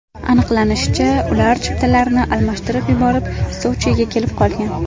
Aniqlanishicha, ular chiptalarni almashtirib yuborib, Sochiga kelib qolgan.